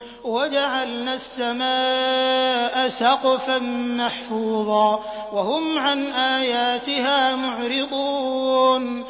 وَجَعَلْنَا السَّمَاءَ سَقْفًا مَّحْفُوظًا ۖ وَهُمْ عَنْ آيَاتِهَا مُعْرِضُونَ